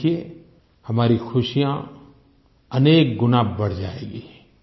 आप देखिये हमारी खुशियाँ अनेक गुना बढ़ जाएँगी